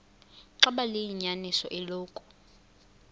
xaba liyinyaniso eloku